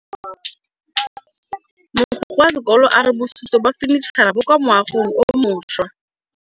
Mogokgo wa sekolo a re bosutô ba fanitšhara bo kwa moagong o mošwa.